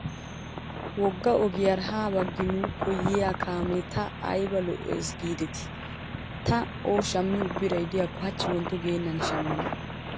Wogga ogiyaara ha baggi nuuko yiyaa kaamiyaa ta ayiba lo"awusu giideti. Ta O shammiyoo birayi diyaakko hachchi wontto geennan shammana.